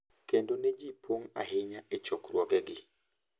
Kendo ne ji pong` ahinya e chokruoge gi.